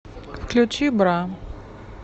включи бра